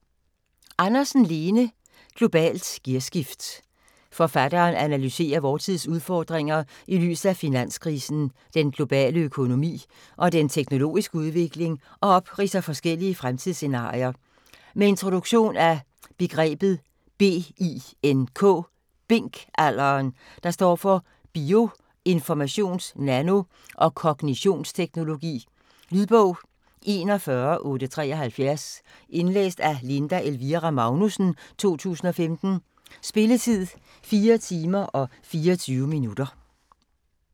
Andersen, Lene: Globalt gearskift Forfatteren analyserer vor tids udfordringer i lyset af finanskrisen, den globale økonomi og den teknologiske udvikling og opridser forskellige fremtidsscenarier. Med introduktion af begrebet BINK-alderen, der står for bio-, informations-, nano- og kognitionsteknologi. Lydbog 41873 Indlæst af Linda Elvira Magnussen, 2015. Spilletid: 4 timer, 24 minutter.